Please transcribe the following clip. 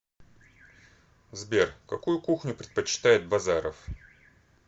сбер какую кухню предпочитает базаров